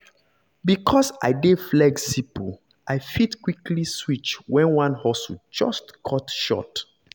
because i dey flexible i fit quickly switch when one hustle just cut short.